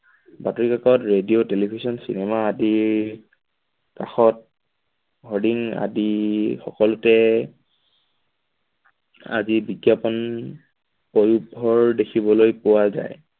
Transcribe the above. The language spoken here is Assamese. বাতৰিকাকত, radio television cinema আদি কাষত আদি সকলোতে আদি বিজ্ঞাপন দেখিবলৈ পোৱা যায়।